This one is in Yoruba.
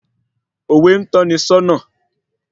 Òwe n tọ́ni sọ́nà